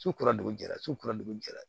Su kura de jɛra su kura de bɛ jɛ